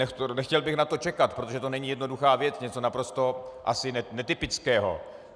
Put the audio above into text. Nechtěl bych na to čekat, protože to není jednoduchá věc, něco naprosto ani netypického.